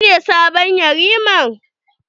Shi ne sabon yarima?